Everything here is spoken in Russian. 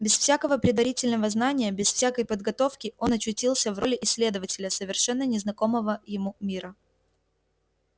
без всякого предварительного знания без всякой подготовки он очутился в роли исследователя совершенно незнакомого ему мира